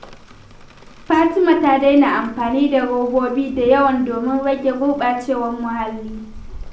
Fatima ta daina amfani da robobi da yawa domin rage gurɓacewar muhalli.